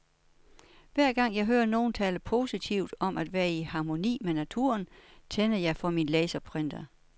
Hver gang jeg hører nogen tale positivt om at være i harmoni med naturen, tænder jeg for min laserprinter.